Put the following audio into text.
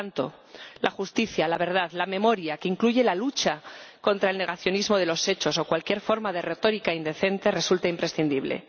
Por tanto, la justicia, la verdad, la memoria —que incluye la lucha contra el negacionismo de los hechos o cualquier otra forma de retórica indecente— resultan imprescindibles.